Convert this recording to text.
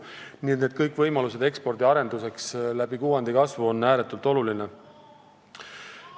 Nii et kõik võimalused ekspordi arenduseks parema kuvandi kaudu on ääretult olulised.